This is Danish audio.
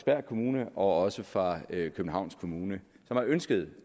kommune og også fra københavns kommune som har ønsket